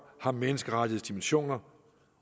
har menneskerettighedsdimensioner